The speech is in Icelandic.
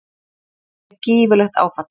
Það væri gífurlegt áfall.